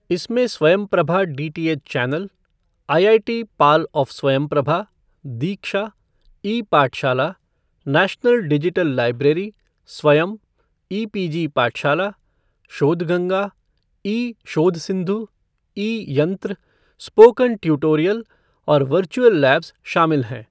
इसमें Swayamprabha DTH channel, IIT PAL of Swayamprabha, Diksha, e Pathshala, National Digital Library, Swayam, e PG Pathshala, Shodhganga, e Shodhsindhu, e Yantra, spoken tutorial और virtual labs शामिल हैं।